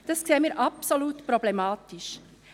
Dies erachten wir als absolut problematisch.